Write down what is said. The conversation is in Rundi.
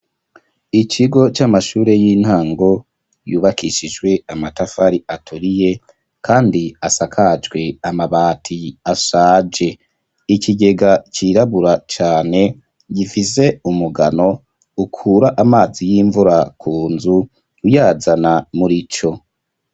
Ikigo c'amashure y'intango yubakishijwe amatafari aturiye kandi asakajwe amabati ashaje. Ikigega cirabura cane gifise umugano ukura amazi y'imvura ku nzu uyazana murico.